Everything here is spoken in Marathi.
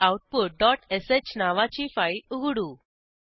हेरेआउटपुट डॉट श नावाची फाईल उघडू